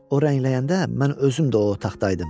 O rəngləyəndə mən özüm də o otaqda idim.